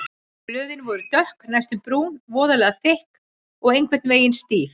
Blöðin voru dökk, næstum brún, voðalega þykk og einhvern veginn stíf.